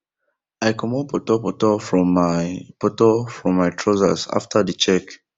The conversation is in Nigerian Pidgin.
i comot potor potor from my potor from my trousers after the check